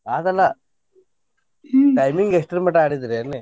ಆದಲ್ಲಾ timing ಎಷ್ಟರ ಮಟಾ ಆಡಿದ್ರಿ ಅನ್ನಿ?